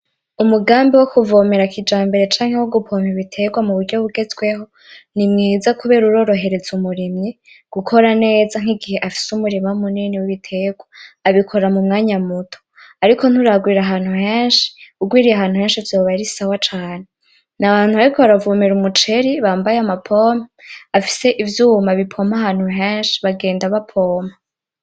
Umugambi wokuvomera kijambere canke wo gupompa ibiterwa muburyo bugezweho ni mwiza kubera urorohereza umurimyi gukora neza nk'igihe afise umurima munini w'ibiterwa abikora mumwanya muto, ariko nturagwira ahantu henshi ugwiriye ahantu henshi vyoba ari sawa cane, n'abantu bariko baravomera umuceri bambaye amapompe bafise ivyuma bipompa ahantu henshi bagenda bapompa.